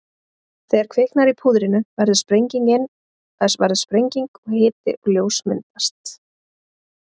þegar kviknar í púðrinu verður sprenging og hiti og ljós myndast